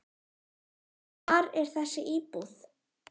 Hvar er þessi íbúð?